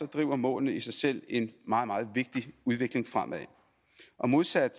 driver målene i sig selv en meget meget vigtig udvikling fremad modsat